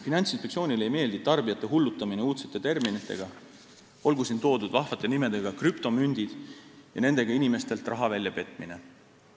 Finantsinspektsioonile ei meeldi tarbijate hullutamine uudsete terminitega – olgu siin nimetatud vahva nimetus "krüptomündid" – ja nendega inimestelt raha välja petmine.